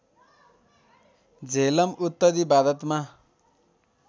झेलम उत्तरी भारतमा